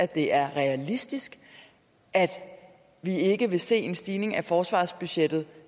det er realistisk at vi ikke vil se en stigning i forsvarsbudgettet